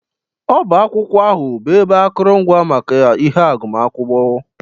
Ọbá akwụkwọ ahụ bụ ebe akụrụngwa maka ihe agụmakwụkwọ.